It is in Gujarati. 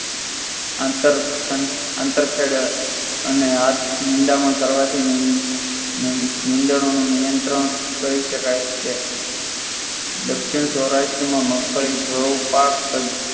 આંતર ખેડા અને નિંદામણ કરવાથી નીંદણાનો નિયંત્રણ કરી શકાય છે દક્ષિણ સૌરાષ્ટ્રમાં મગફળી ભાવ પાક